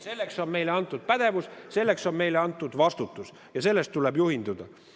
Selleks on meile antud pädevus, selleks on meile antud vastutus ja sellest tuleb juhinduda.